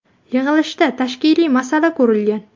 Yig‘ilishda tashkiliy masala ko‘rilgan.